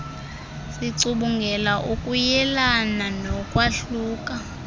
sicubungula ukuyelelana nokwahluka